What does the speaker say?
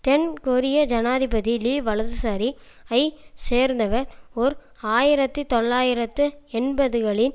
தென் கொரிய ஜனாதிபதி லீ வலதுசாரி ஐ சேர்ந்தவர் ஓர் ஆயிரத்தி தொள்ளாயிரத்து எண்பதுகளின்